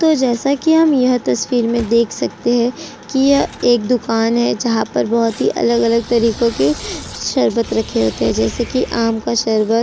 तो जैसा कि हम यह तस्वीर में देख सकते हैं कि यह एक दुकान है जहां पर बहुत अलग-अलग तरीकों के जैसे कि आम का शरबत --